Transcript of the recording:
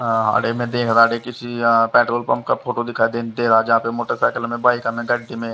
किसी petrol pump का photo दिखाई दे रहा हैजहापे मोटरसाइकिल बाइका में गड्डी में --